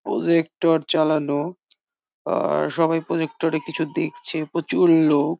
Projector চালানো বা সবাই প্রজেক্টর এ কিছু দেখছে প্রচুর লোক।